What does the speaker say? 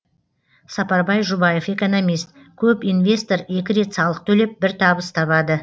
сапарбай жұбаев экономист көп инвестор екі рет салық төлеп бір табыс табады